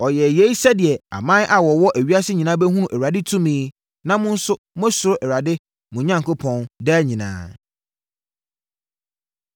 Ɔyɛɛ yei sɛdeɛ aman a wɔwɔ ewiase nyinaa bɛhunu Awurade tumi na mo nso moasuro Awurade, mo Onyankopɔn, daa nyinaa.”